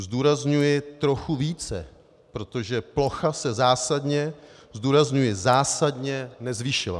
Zdůrazňuji trochu více, protože plocha se zásadně - zdůrazňuji zásadně - nezvýšila.